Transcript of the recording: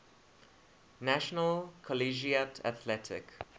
national collegiate athletic